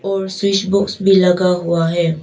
और switchboard भी लगा हुआ है।